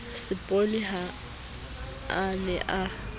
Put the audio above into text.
seboni ha a ne a